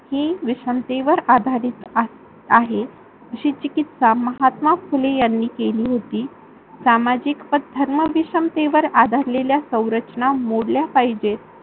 हि विशमतेवर आधारित आहे. अशी चिकित्सा महात्मा फुले यांनी केली होती. समाजिक व धर्मविशमतेवर आधारलेल्या सौरचना मोडल्या पाहिजे